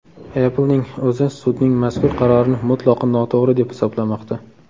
Apple’ning o‘zi sudning mazkur qarorini mutlaqo noto‘g‘ri deb hisoblamoqda.